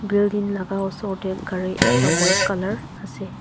building laka osor tae gari ekta white colour la ase.